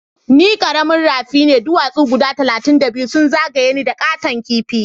Ni karamin rafi ne ,duwasu guda talatin da biyu sun zagaya ni da katon kipi.